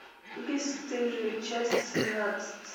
бесстыжие часть семнадцать